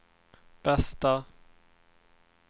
bästa